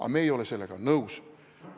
Aga meie ei ole sellega nõus.